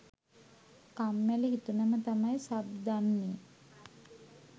කම්මැලි හිතුනම තමයි සබ් දන්නේ.